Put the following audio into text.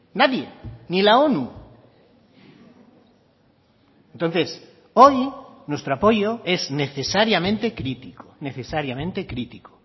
nadie ni la onu entonces hoy nuestro apoyo es necesariamente crítico necesariamente crítico